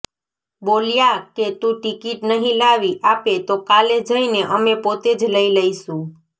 બોલ્યા કે તું ટિકિટ નહીં લાવી આપે તો કાલે જઈને અમે પોતે જ લઇ લઈશું